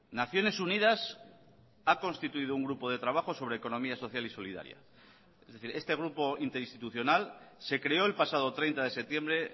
naciones unidas ha constituido un grupo de trabajo sobre economía social y solidaria es decir este grupo interinstitucional se creó el pasado treinta de septiembre